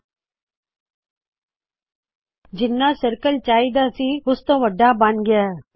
ਓਹ ਜਿੱਨਾ ਚਾਹੀ ਦਾ ਸੀ ਸਰਕਲ ਤਾ ਉਸਤੋ ਵੱਡਾ ਬਣ ਗਇਆ